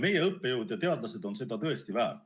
Meie õppejõud ja teadlased on seda tõesti väärt.